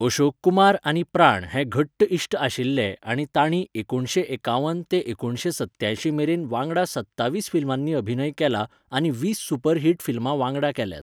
अशोक कुमार आनी प्राण हे घट्ट इश्ट आशिल्ले आनी तांणी एकुणशे एकावन ते एकुणशे सत्यांयशी मेरेन वांगडा सत्तावीस फिल्मांनी अभिनय केला आनी वीस सुपर हिट फिल्मां वांगडा केल्यांत.